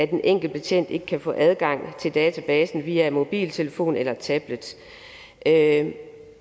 den enkelte betjent ikke kan få adgang til databasen via mobiltelefon eller tablet